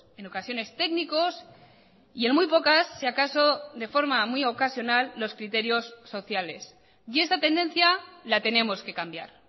en ocasiones técnicos y en muy pocas si acaso de forma muy ocasional los criterios sociales y esta tendencia la tenemos que cambiar